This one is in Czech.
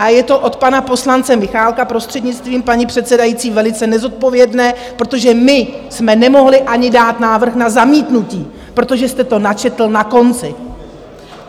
A je to od pana poslance Michálka, prostřednictvím paní předsedající, velice nezodpovědné, protože my jsme nemohli ani dát návrh na zamítnutí, protože jste to načetl na konci!